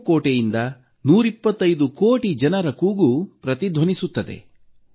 ಕೆಂಪು ಕೋಟೆಯಿಂದ 125 ಕೋಟಿ ಜನರ ಕೂಗು ಪ್ರತಿಧ್ವನಿಸುತ್ತದೆ